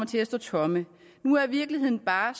til at stå tomme nu er virkeligheden bare